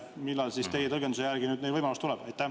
Millal teie tõlgenduse järgi neil see võimalus tuleb?